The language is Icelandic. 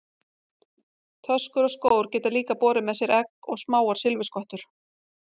Töskur og skór geta líka borið með sér egg og smáar silfurskottur.